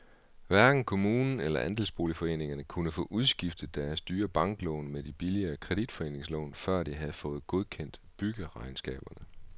Hverken kommunen eller andelsboligforeningerne kunne få udskiftet deres dyre banklån med de billigere kreditforeningslån, før de havde fået godkendt byggeregnskaberne.